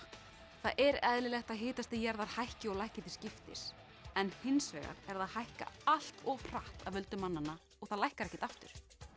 það er eðlilegt að hitastig jarðar hækki og lækki til skiptist en hins vegar er það að hækka allt of hratt af völdum mannanna og það lækkar ekkert aftur